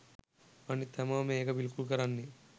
අනිත් හැමෝම ඒක පිළිකුල් කරන්නේ